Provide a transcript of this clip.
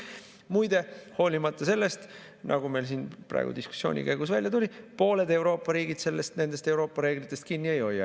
Muide, hoolimata sellest, nagu meil siin praegu diskussiooni käigus välja tuli, pooled Euroopa riigid nendest Euroopa reeglitest kinni ei hoia.